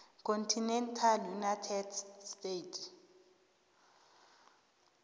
continental united states